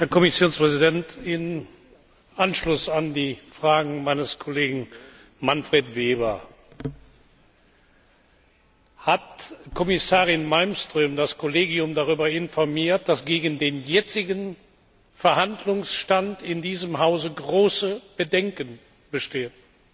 Herr Präsident, Herr Kommissionspräsident! Im Anschluss an die Fragen meines Kollegen Manfred Weber hat Kommissarin Malmström das Kollegium darüber informiert, dass gegen den jetzigen Verhandlungsstand in diesem Haus große Bedenken bestehen.